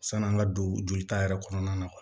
San'an ka don jolita yɛrɛ kɔnɔna na